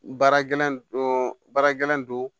Baara gɛlɛn don baara gɛlɛn don